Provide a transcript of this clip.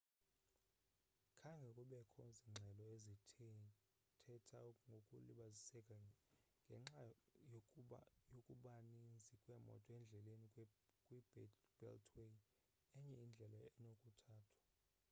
khange kubekho zingxelo ezithetha ngokulibaziseka ngenxa yokubaninzi kweemoto endleleni kwi-beltway enye indlela enokuthathwa